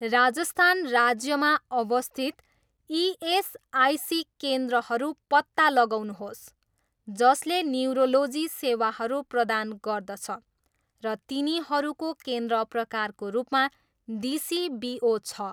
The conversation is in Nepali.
राजस्थान राज्यमा अवस्थित इएसआइसी केन्द्रहरू पत्ता लगाउनुहोस् जसले न्युरोलोजी सेवाहरू प्रदान गर्दछ र तिनीहरूको केन्द्र प्रकारको रूपमा डिसिबिओ छ।